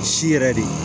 Si yɛrɛ de